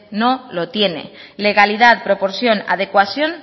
no lo tiene legalidad proporción adecuación